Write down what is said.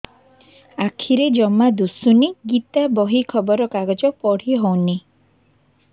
ଆଖିରେ ଜମା ଦୁଶୁନି ଗୀତା ବହି ଖବର କାଗଜ ପଢି ହଉନି